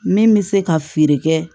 Min bɛ se ka feere kɛ